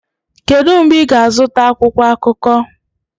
Kedu mgbe ị ga-azụta akwụkwọ akụkọ?